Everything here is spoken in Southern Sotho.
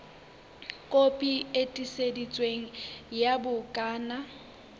kopi e tiiseditsweng ya bukana